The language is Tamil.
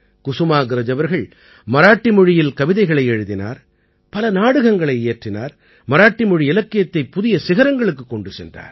குசுமாக்ரஜ் அவர்கள் மராட்டி மொழியில் கவிதைகள் எழுதினார் பல நாடகங்களை இயற்றினார் மராட்டி மொழி இலக்கியத்தைப் புதிய சிகரங்களுக்குக் கொண்டு சென்றார்